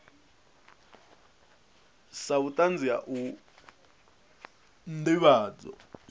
sa vhutanzi ha u ndivhadzo